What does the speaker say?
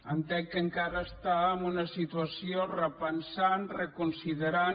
entenc que encara està en una situació repensant reconsiderant